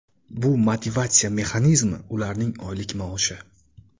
Bu motivatsiya mexanizmi ularning oylik maoshi.